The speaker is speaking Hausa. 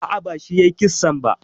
A'a, bashi yayi kissan ba.